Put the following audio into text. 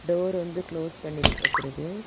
Door வந்து close பண்ணி வச்சிருக்கு.